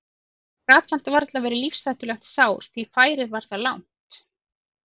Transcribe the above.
Það gat samt varla verið lífshættulegt sár því færið var það langt.